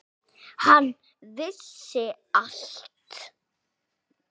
Hann vissi allt.